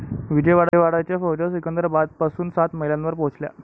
विजयवाड्याचा फौजा सिकंदराबादपासून सात मैल्यांवर पोहोचल्या.